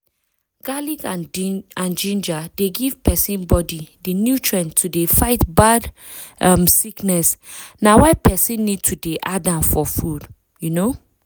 garlic and ginger dey give persin body di nutrients to dey fight bad um sickness na why persin need to dey add am for food. um